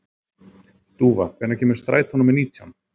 Dúfa, hvenær kemur strætó númer nítján?